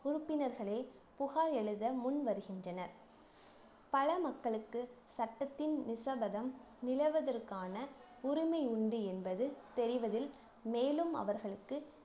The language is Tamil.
உறுப்பினர்களே புகார் எழுத முன் வருகின்றனர் பல மக்களுக்கு சட்டத்தின் நிஷபதம் நிலவுவதற்கான உரிமை உண்டு என்பது தெரிவதில் மேலும் அவர்களுக்கு